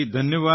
ધન્યવાદ